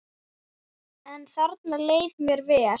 En þarna leið mér vel.